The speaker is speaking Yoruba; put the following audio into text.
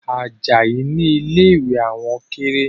Ajayi ni ilé ìwẹ̀ àwọn kéré